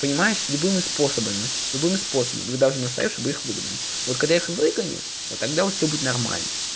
понимаешь любыми способами любым способом вы должны настаивать чтобы их выгнали вот когда их выгонят вот тогда у вас всё будет нормально